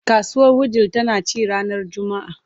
Kasuwar Wudil tana ci ranar Juma’a.